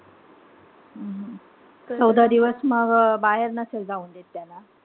चौदा दिवस मग बाहेर नसेल जाऊ देत त्याला.